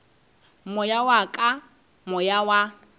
moya wa ka moya wa